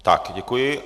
Tak, děkuji.